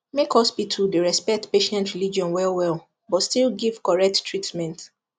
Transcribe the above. make hospital dey respect patient religion wellwell but still give correct treatment